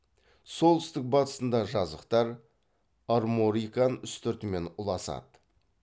солтүстік батысында жазықтар арморикан үстіртімен ұласады